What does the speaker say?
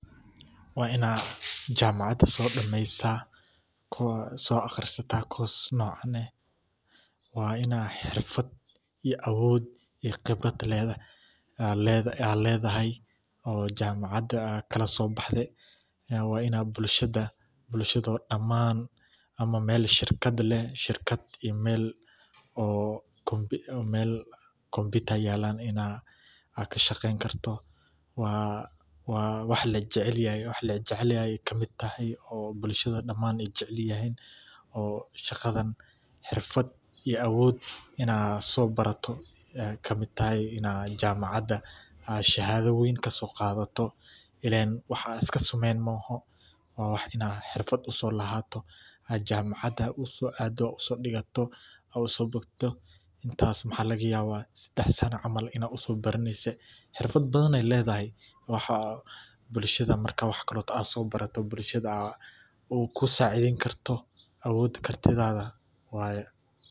Waa in aad jaamacad soo dhammaysaa, aadna soo akhrisataa course noocan ah. Waa in aad xirfad xoog leh iyo khibrad aad leedahay oo aad jaamacadda kala soo baxday. Waa in ay bulshada dhammaan, ama meel shirkad ah oo computer yaal, aad ka shaqeyn karto. Waxay ka mid tahay waaxyaha bulshada dhammaantood ay jecel yihiin, oo shaqadan xirfad iyo awood aad soo barato tahay. In aad jaamacadda shahaado weyn ka soo qaadato, ileen waa wax aad iska samaynin ma aha — waa wax aad xirfad u leedahay oo jaamacad aad u aaddo, u soo dhigato, u soo bogato. Intaas waxaa laga yaabaa in 3 sano camal aad u soo baranayso. Xirfado badan ayey leedahay. Marka aad soo barato, waxa aad bulshadaada ku saacidi kartaa awoodda xirfaddaada waaye.